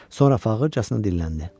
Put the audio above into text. Sonra fağırçasına dilləndi.